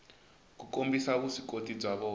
ku kombisa vuswikoti bya vona